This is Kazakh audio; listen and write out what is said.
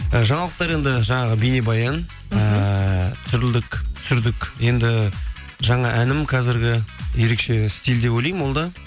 і жаңалықтар енді жаңағы бейнебаян ііі түсірдік енді жаңа әнім қазіргі ерекше стиль деп ойлаймын ол да